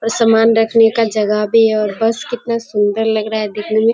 और समान रखने का जगह भी है और बस कितना सुंदर लग रहा है देखने में।